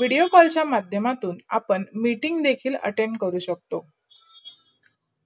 vedio call चा माध्य्यमातून आपण meeting देखील attend करू शकतो.